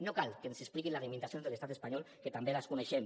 no cal que ens expliqui les limitacions de l’estat espanyol que també les coneixem